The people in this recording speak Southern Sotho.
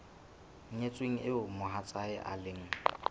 nyetsweng eo mohatsae e leng